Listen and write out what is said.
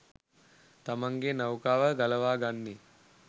තමන්ගේ නෞකාව ගලවා ගන්නේ?